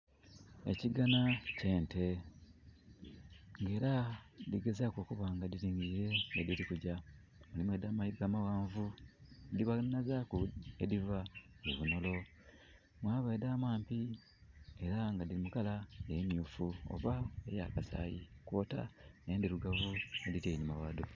Ekiganha ky'ente nga era dhili gezaaku okuba nga dhilingiliire yedhili kugya. Mulimu edha mayiga amaghanvu, dhe banhazaaku edhiva ebunholo. Mwaba edha maadhi era nga dhili mu colour emyuufu oba ey'akasaayi, kwota endhirugavu edhili enhuma ghaadho.